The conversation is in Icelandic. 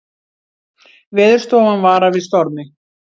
Veðurstofan varar við stormi